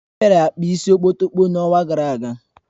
O bịara kpaa isi okpotokpo n'ọnwa gara aga